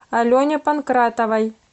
алене панкратовой